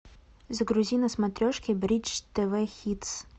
загрузи на смотрешке бридж тв хитс